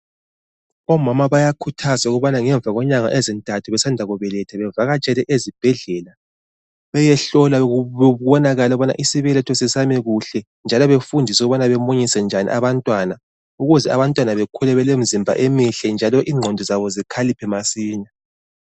Omama bayakhuthazwa ukubana ngemva kwenyanga ezintathu besanda kubeletha bavakatshele ezibhedlela, beyehlolwa kubonakale ukubana isibeletho sisame kuhle njalo befundiswe ukubana bemunyise njani abantwana ukuze abantwana bakhule belemizimba emihle njalo ingqondo zabo zikhaliphe masinya.